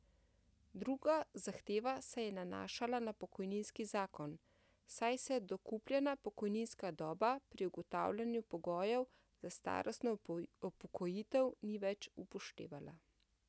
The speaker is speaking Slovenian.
Druga zahteva se je nanašala na pokojninski zakon, saj se dokupljena pokojninska doba pri ugotavljanju pogojev za starostno upokojitev ni več upoštevala.